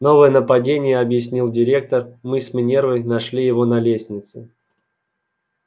новое нападение объяснил директор мы с минервой нашли его на лестнице